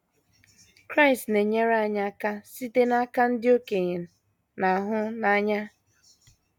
Kraịst na - enyere anyị aka site n’aka ndị okenye na - ahụ n’anya